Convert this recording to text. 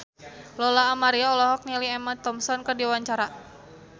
Lola Amaria olohok ningali Emma Thompson keur diwawancara